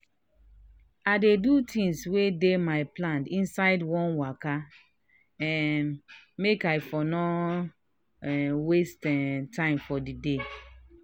i dey do things wey dey my plan inside one waka um make i for no um waste um time for di day.